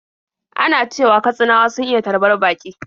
Ana cewa Katsinawa sun iya tarbar baƙi.